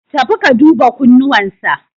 Tafi ka duba kunnuwan sa.